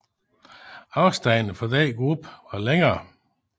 Afstandene for denne gruppe var længere